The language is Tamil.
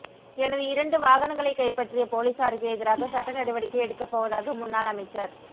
எனது இரண்டு வாகனங்களை கைப்பற்றிய பொலிஸாருக்கு எதிராக சட்ட நடவடிக்கை எடுக்கப் போவதாக முன்னாள் அமைச்சர்